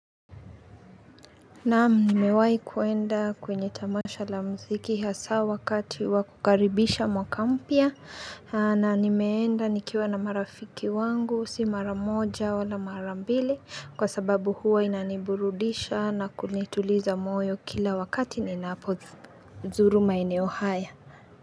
Naam, nimewai kwenda kwenye tamasha la mziki hasa wakati wakukaribisha mwaka mpya na nimeenda nikiwa na marafiki wangu si mara moja wala mara mbili kwa sababu huwa inaniburudisha na kunituliza moyo kila wakati ninaapozuru maeneo haya.